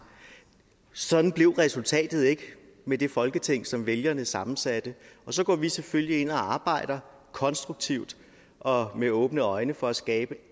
sådan blev resultatet ikke med det folketing som vælgerne sammensatte og så går vi selvfølgelig ind og arbejder konstruktivt og med åbne øjne for at skabe